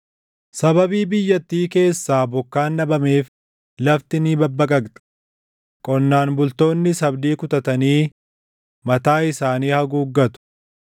Sababii biyyattii keessaa bokkaan dhabameef lafti ni babbaqaqxe; qonnaan bultoonnis abdii kutatanii mataa isaanii haguuggatu.